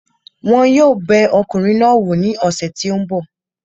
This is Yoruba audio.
Wọn yóò bẹ ọkùnrin náà wò ní ọ̀sẹ̀ tí ó ń bọ̀